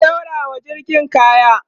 ku ɗaurawa jirgin kaya!